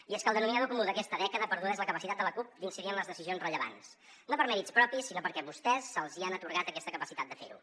i és que el denominador comú d’aquesta dècada perduda és la capacitat de la cup d’incidir en les decisions rellevants no per mèrits propis sinó perquè vostès els hi han atorgat aquesta capacitat de fer ho